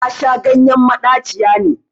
Nasha ganyen maɗaciya ne